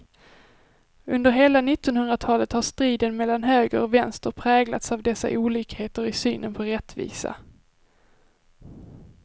Under hela nittonhundratalet har striden mellan höger och vänster präglats av dessa olikheter i synen på rättvisa.